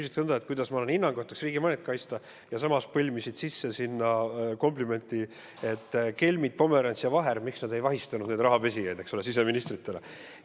Sa küsid nõnda, et kuidas minu hinnangul peaks riigi mainet kaitsma, ja samas põimisid sinna sisse "komplimendi", miks kelmid Pomerants ja Vaher ei vahistanud siseministrina neid rahapesijaid.